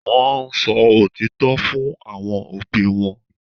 Wọ́n sọ òtítọ́ fún àwọn òbí wọn